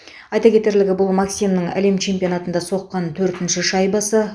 айта кетерлігі бұл максимнің әлем чемпионатында соққан төртінші шайбасы